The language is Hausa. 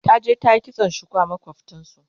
taje ta yi kitson shuku a makwaftansu